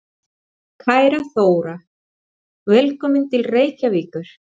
Kæra Þóra. Velkomin til Reykjavíkur.